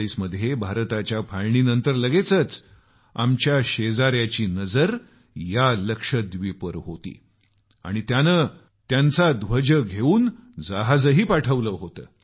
1947 मध्ये भारताच्या फाळणीनंतर लगेचच आमच्या शेजाऱ्याची नजर लक्षद्वीपवर होती आणि त्याने आपला ध्वज घेऊन जहाज पाठवले होते